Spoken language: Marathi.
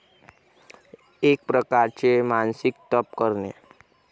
एक प्रकारचे मानसिक तप करणे.